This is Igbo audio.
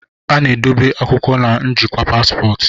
a na-edobe akwụkwọ na njikwa paspọtụ